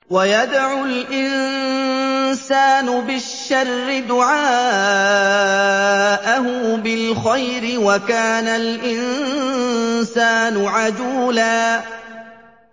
وَيَدْعُ الْإِنسَانُ بِالشَّرِّ دُعَاءَهُ بِالْخَيْرِ ۖ وَكَانَ الْإِنسَانُ عَجُولًا